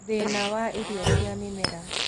Thĩna wa irio cia mĩmera